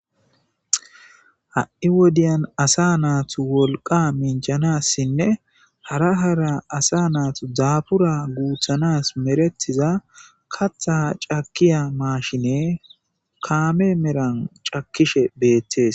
Hai wodiyan asa natu woliqa minjanasinne hara hara asa natu dafura gutanasi meretiza kata cakiya mashine kame meran cakishe betes.